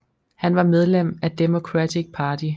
Han var medlem af Democratic Party